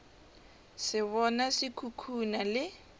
se bona se khukhuna le